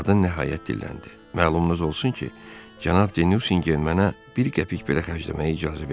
Qadın nəhayət dilləndi: "Məlumnuz olsun ki, cənab De Nusingen mənə bir qəpik belə xərcləməyə icazə vermir."